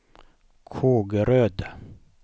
Kågeröd